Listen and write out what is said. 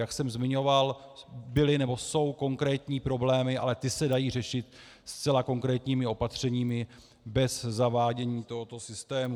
Jak jsem zmiňoval, byly nebo jsou konkrétní problémy, ale ty se dají řešit zcela konkrétními opatřeními bez zavádění tohoto systému.